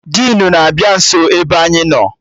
Dinu na-abịa nso ebe anyị nọ